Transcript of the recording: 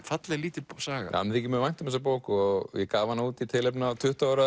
falleg lítil saga mér þykir mjög vænt um þessa bók og gaf hana út í tilefni af tuttugu ára